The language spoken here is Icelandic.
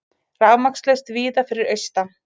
Rafmagnslaust víða fyrir austan